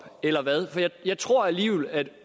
eller hvad for jeg jeg tror alligevel at